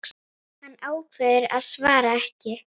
Hann ákveður að svara ekki.